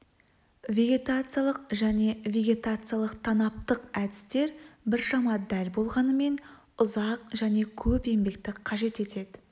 вегетациялық және вегетациялық-танаптық әдістер біршама дәл болғанымен ұзақ және көп еңбекті қажет етеді